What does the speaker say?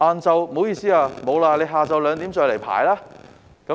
不好意思，沒有名額了，下午2時再來排隊。